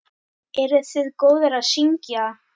Eruð þið góðar að syngja?